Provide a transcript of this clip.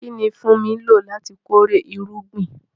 Kí ni Funmi lò láti kórè irúgbìn?